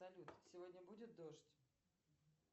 салют сегодня будет дождь